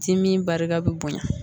Dimi barika bɛ bonya